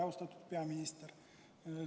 Austatud peaminister!